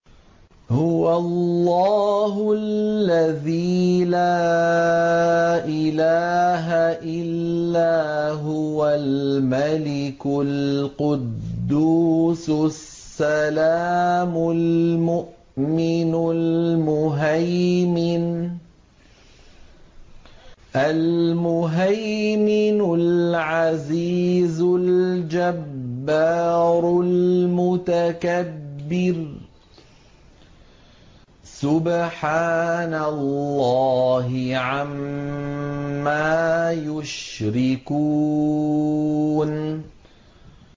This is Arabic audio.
هُوَ اللَّهُ الَّذِي لَا إِلَٰهَ إِلَّا هُوَ الْمَلِكُ الْقُدُّوسُ السَّلَامُ الْمُؤْمِنُ الْمُهَيْمِنُ الْعَزِيزُ الْجَبَّارُ الْمُتَكَبِّرُ ۚ سُبْحَانَ اللَّهِ عَمَّا يُشْرِكُونَ